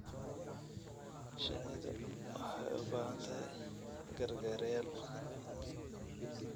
Shinnidu waxay u baahan tahay gargaarayaal.